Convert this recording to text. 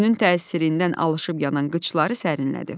Günün təsirindən alışıb yanan qıçları sərinlədi.